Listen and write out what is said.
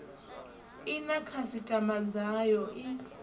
i na khasitama dzayo i